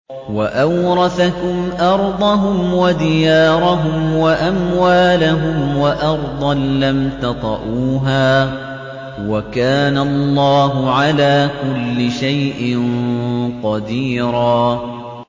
وَأَوْرَثَكُمْ أَرْضَهُمْ وَدِيَارَهُمْ وَأَمْوَالَهُمْ وَأَرْضًا لَّمْ تَطَئُوهَا ۚ وَكَانَ اللَّهُ عَلَىٰ كُلِّ شَيْءٍ قَدِيرًا